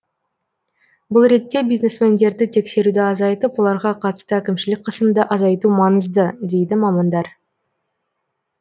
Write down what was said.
бұл ретте бизнесмендерді тексеруді азайтып оларға қатысты әкімшілік қысымды азайту маңызы дейді мамандар